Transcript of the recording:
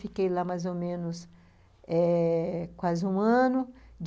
Fiquei lá mais ou menos eh quase um ano.